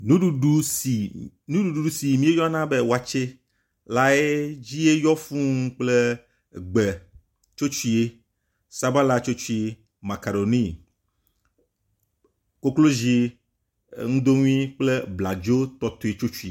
nuɖuɖu si miyɔna be wɔtsɛ lae dzie yɔ fūu kple gbe tsotsui sabala tsotsui kple makaroni koklozi eŋudoŋui kple bladzo tɔtɔe tsotsui